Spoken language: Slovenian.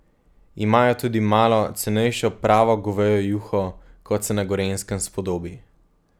Imajo tudi malo cenejšo pravo govejo juho, kot se na Gorenjskem spodobi.